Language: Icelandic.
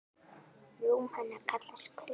Rúm hennar kallast Kör.